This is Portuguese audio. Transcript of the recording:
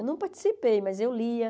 Eu não participei, mas eu lia.